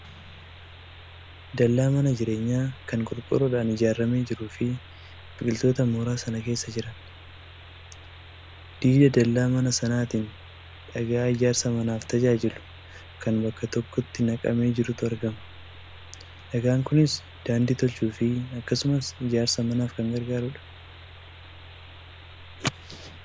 Dallaa mana jireenyaa kan qorqoorroodhaan ijaaramee jiruu fi biqiltoota mooraa sana keessa jiran. Diida dallaa mana sanaatiin dhagaa ijaarsa manaaf tajaajilu kan bakka tokko naqamee jirutu argama. Dhagaan kunis daandii tolchuufi akkasumas ijaarsa manaaf kan gargaarudha.